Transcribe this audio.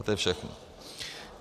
A to je všechno.